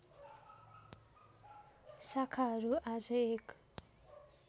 शाखाहरू आज एक